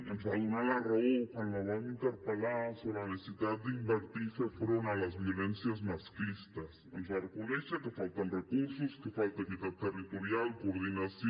ens va donar la raó quan la vam interpel·lar sobre la necessitat d’invertir i fer front a les violències masclistes ens va reconèixer que falten recursos que falta equitat territorial coordinació